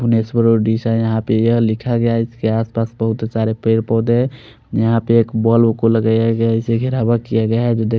उड़ीसा यहाँ पर यह लिखा गया है इसके आस पास बहोत सारे पेड़ पोधे है यहाँ पर एक बोलो को लगाया गया है किया गया है।